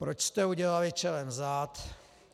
Proč jste udělali čelem vzad?